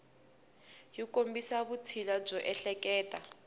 yi kombisa vutshila byo ehleketa